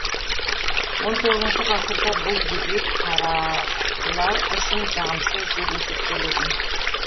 он тоғыз ғасырда бұл дебют қаралар үшін жағымсыз деп есептелетін